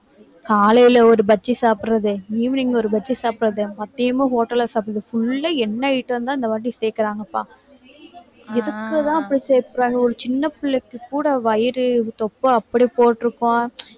காலையில ஒரு பஜ்ஜி சாப்பிடறது, evening ஒரு பஜ்ஜி சாப்பிடறது, மதியமும் hotel ல சாப்பிடறது full ஆ என்ன item தான் இந்தவாட்டி சேர்க்கிறாங்கப்பா. எதுக்குதான் போய் சேர்க்கறாங்க. ஒரு சின்ன பிள்ளைக்கு கூட வயிறு தொப்பை அப்படியே போட்டிருக்கோம்